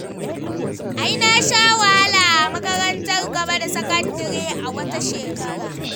Ai na sha wahala a makarantar gaba da sakandare a wata shekara.